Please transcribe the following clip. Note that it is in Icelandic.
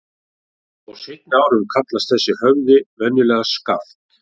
Á seinni árum kallaðist þessi höfði venjulega Skaft.